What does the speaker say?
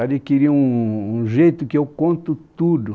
adquiri um jeito que eu conto tudo.